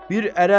Bir ərəb.